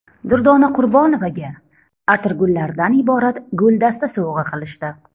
Durdona Qurbonovaga atirgullardan iborat guldasta sovg‘a qilishdi.